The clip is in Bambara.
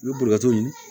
I bɛ boli ka to ɲini